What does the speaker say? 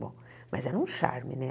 Bom, mas era um charme, né?